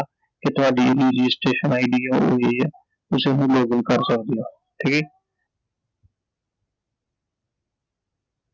ਕਿ ਤੁਹਾਡੀ ਇਹ RegistrationID ਐ ਉਹ ਹੋ ਗਈ ਐI ਤੁਸੀਂ ਹੁਣ login ਕਰ ਸਕਦੇ ਓI ਠੀਕ ਐI